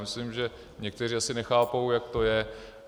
Myslím, že někteří asi nechápou, jak to je.